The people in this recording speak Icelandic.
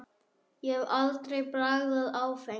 Ég hef aldrei bragðað áfengi.